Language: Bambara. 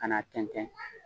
Kan'a tɛntɛn